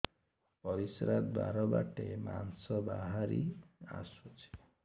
ପରିଶ୍ରା ଦ୍ୱାର ବାଟେ ମାଂସ ବାହାରି ଆସୁଛି